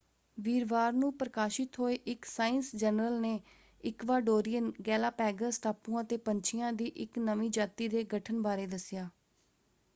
ਵੀਰਵਾਰ ਨੂੰ ਪ੍ਰਕਾਸ਼ਿਤ ਹੋਏ ਇੱਕ ਸਾਇੰਸ ਜਨਰਲ ਨੇ ਇਕਵਾਡੋਰੀਅਨ ਗੈਲਾਪੈਗਸ ਟਾਪੂਆਂ ‘ਤੇ ਪੰਛੀਆਂ ਦੀ ਇੱਕ ਨਵੀਂ ਜਾਤੀ ਦੇ ਗਠਨ ਬਾਰੇ ਦੱਸਿਆ।